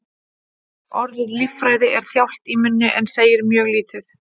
Orðið lýðfræði er þjált í munni en segir mjög lítið.